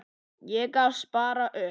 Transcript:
Ég gafst bara upp.